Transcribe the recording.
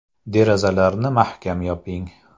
Derazalarni mahkam yoping.